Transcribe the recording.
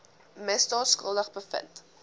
misdaad skuldig bevind